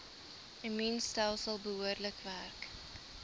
immuunstelsel behoorlik werk